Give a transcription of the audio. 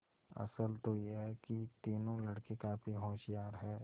असल तो यह कि तीनों लड़के काफी होशियार हैं